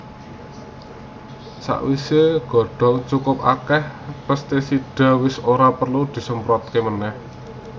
Sawisé godhong cukup akèh pèstisida wis ora perlu disemprotaké manèh